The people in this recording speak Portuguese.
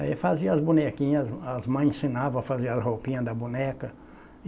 Aí fazia as bonequinhas, as ma as mães ensinavam a fazer as roupinhas da boneca.